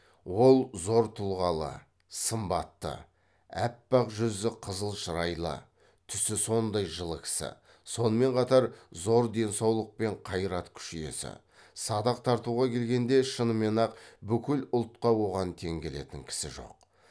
ол зор тұлғалы сымбатты аппақ жүзі қызыл шырайлы түсі сондай жылы кісі сонымен қатар зор денсаулық пен қайрат күш иесі садақ тартуға келгенде шынымен ақ бүкіл ұлтқа оған тең келетін кісі жоқ